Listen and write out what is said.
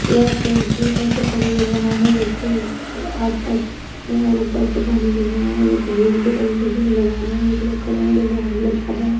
यहां पे एक झील टाइप से पानी गिर रहा है जो कि आसपास पेड़ है और ऊपर से पानी गिर रहा है जो की झील के तरीके से नजर आ रहा है। एक लोग खड़े हैं जो कि हाथ में छाता है।